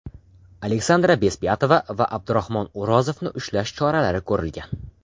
Aleksandra Bezpyatova va Abdurahmon O‘rozovni ushlash choralari ko‘rilgan.